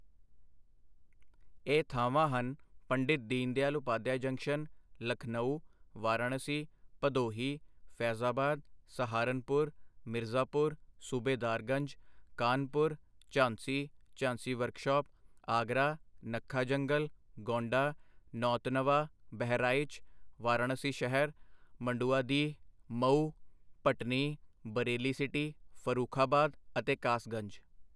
ਇਹ ਥਾਵਾਂ ਹਨ ਪੰਡਿਤ ਦੀਨਦਿਆਲ ਉਪਾਧਿਆਏ ਜੰਕਸ਼ਨ, ਲਖਨਊ, ਵਾਰਾਣਸੀ, ਭਦੋਹੀ, ਫੈਜ਼ਾਬਾਦ, ਸਹਾਰਨਪੁਰ, ਮਿਰਜ਼ਾਪੁਰ, ਸੂਬੇਦਾਰਗੰਜ, ਕਾਨਪੁਰ, ਝਾਂਸੀ, ਝਾਂਸੀ ਵਰਕਸ਼ਾਪ, ਆਗਰਾ, ਨਖ਼ਾ ਜੰਗਲ, ਗੌਂਡਾ, ਨੌਤਨਵਾ, ਬਹਰਾਇਚ, ਵਾਰਾਣਸੀ ਸ਼ਹਿਰ, ਮੰਡੂਆਦੀਹ, ਮਊ, ਭਟਨੀ, ਬਰੇਲੀ ਸਿਟੀ, ਫਰੂਖਾਬਾਦ ਅਤੇ ਕਾਸਗੰਜ।